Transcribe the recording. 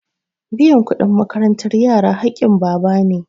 Biyan kuɗin makarantar yara haƙƙin baba na.